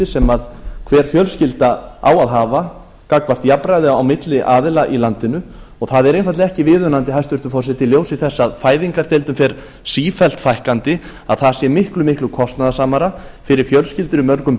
sem hver fjölskylda á að hafa gagnvart jafnræði á milli aðila í landinu og það er einfaldlega ekki viðunandi hæstvirtur forseti í ljósi þess að fæðingardeildum fer sífellt fækkandi að það sé miklu miklu kostnaðarsamari fyrir fjölskyldur í mörgum